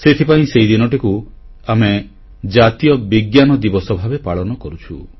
ସେଥିପାଇଁ ସେହିଦିନଟିକୁ ଆମେ ଜାତୀୟ ବିଜ୍ଞାନ ଦିବସ ଭାବେ ପାଳନ କରୁଛୁ